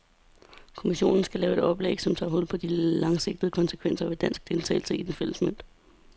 Kommissionen skal lave et oplæg, som tager hul på de langsigtede konsekvenser ved dansk deltagelse i den fælles mønt.